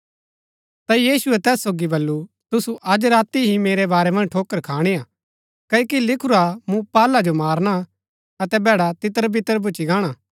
ता यीशुऐ तैस सोगी बल्लू तुसु अज राती ही मेरै बारै मन्ज ठोकर खाणी हा क्ओकि लिखुरा मूँ पाहला जो मारना अतै भैड़ा तितरबितर भूच्ची गाणा